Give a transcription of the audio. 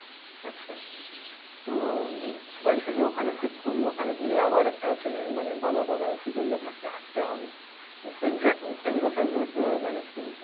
আচ্ছা. তো বাড়ি থেকে ওখানে shift করবি ওখানে গিয়ে আবার একটা চেনা মানে বাধা ধরা schedule এর মধ্যে হাঁটতে হবে. তো সেই সেই ব্যাপার গুলো কিভাবে manage করিস?